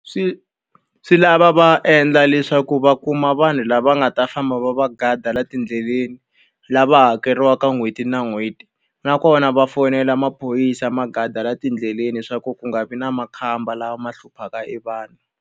Swi swi lava va endla leswaku va kuma vanhu lava nga ta famba va va guard-a laha tindleleni, lava hakeriwaka n'hweti na n'hweti. Nakona va fonela maphorisa ma guard-a laha tindleleni leswaku ku nga vi na makhamba lama ma hluphaka e vanhu.